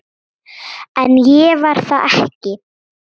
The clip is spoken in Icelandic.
En ég var það ekki.